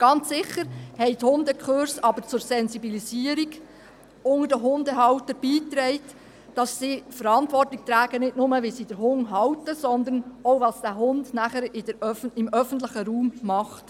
Ganz sicher aber haben die Hundekurse zur Sensibilisierung unter den Hundehaltern beigetragen, sodass sie Verantwortung tragen – nicht nur dahingehend, wie sie den Hund halten, sondern auch, was dieser Hund nachher im öffentlichen Raum tut.